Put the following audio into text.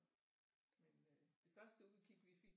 Men øh det første udkig vi fik